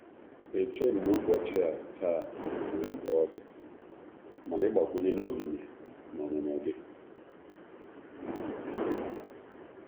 Echeghị m na ubochia taa nwere mkpa ọdi, mana ị gbakwunyela omimi na ọnụnọ gị.